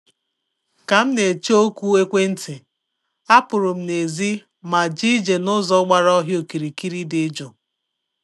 Ka m na-eche oku ekwentị, apụrụ m n'èzí ma jee ije n’ụzọ gbara ọhịa okirikiri dị jụụ